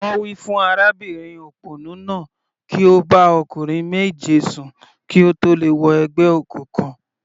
Wọ́n wí fún arábìnrin òpònú náà kí ó bá ọkùnrin méje sùn kí ó tó lè wọ ẹgbẹ́ òkùnkùn.